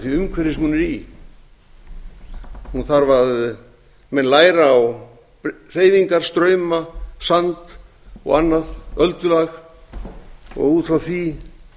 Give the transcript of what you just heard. því umhverfi sem hún er í hún þarf að læra á hreyfingar strauma sand og annað öldulag og út frá því